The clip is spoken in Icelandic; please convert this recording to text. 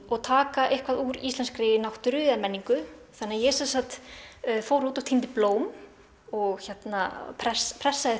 og taka eitthvað úr íslenskri náttúru eða menningu þannig að ég fór út og týndi blóm og pressaði pressaði